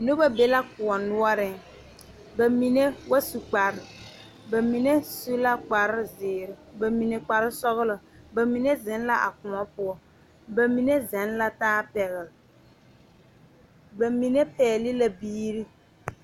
Noba be la kóɔ noɔreŋ ba mine ba su kparre ba mine su la kpar zeere ba mine kpar sɔgelɔ ba mime zeŋ la a kóɔ poɔ ba mine zeg la taa pɛgele ba mine pɛgele la biiri